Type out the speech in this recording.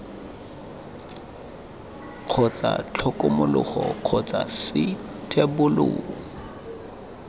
kgotsa tlhokomologo kgotsa c thebolo